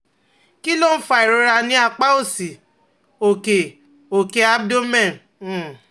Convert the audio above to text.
Kí ló ń fa ìrora ní apá òsì òkè òkè abdomen? um